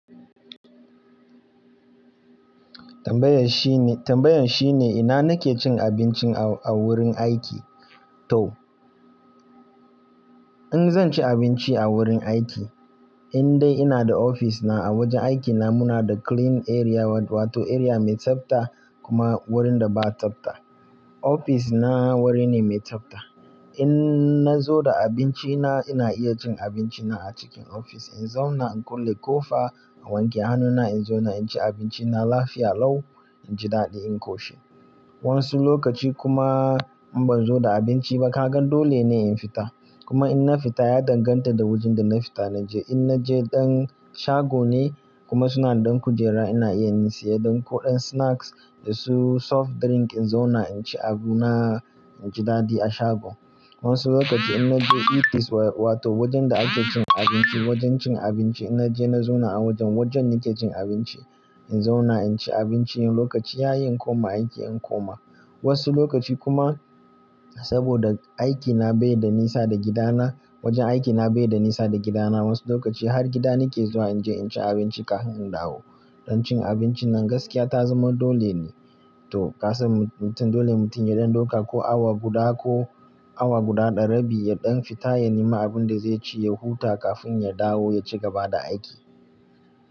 Tambayan shine, tambayan shine ina nake cin abinci a wurin aiki to? In zan ci abinci a wurin aiki, in dai ina da ofis na a wajen aikina muna da clean area wato area mai tsabta kuma wurin da ba tsabta. Ofis na wuri ne mai tsabta. In nazo da abinci na ina iya cin abinci na a cikin ofis. In zauna in kulle ƙofa in wanke hannuna in zauna inci abinci na lafiya lau inji daɗi in ƙoshi. Wasu lokaci kuma in ban zo da abinci ba kagan dole ne in fita. Kuma in na fita ya danganta da wajen da na fita na je. In naje ɗan shago ne kuma suna da ɗan kujera ina iya in saya ɗan kuɗan snacks da su soft drink in zauna inci abu na inji daɗi a shago. Wasu lokaci in naje eat place wato wajen da ake cin abinci wajen cin abinci in naje na zauna a wajen wajen nake cin abinci. In zauna inci abinci in lokaci ya yi in koma aiki in koma. Wasu lokaci kuma saboda aikina bai da nisa da gidana wajen aikina bai da nisa da gidana wasu lokaci har gida nake zuwa in je inci abinci kafin in dawo. Don cin abinci nan gaskiya ta zama dole ne, toh ka san mutum dole mutum ya ɗan ɗauka ko awa guda ko awa guda darabi ya ɗan fita ya nemi abin da zai ci ya huta kafin ya dawo ya ci gaba da aiki.